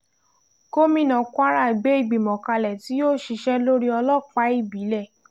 gomina kwara gbé ìgbìmọ̀ kalẹ̀ tí yóò ṣiṣẹ́ lórí ọlọ́pàá ìbílẹ̀